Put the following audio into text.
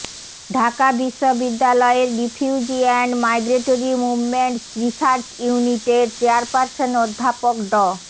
ঢাকা বিশ্ববিদ্যালয়ের refugee and migratory movements research ইউনিটের chairperson অধ্যাপক ড